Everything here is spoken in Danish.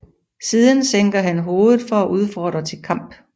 Siden sænker han hovedet for at udfordre til kamp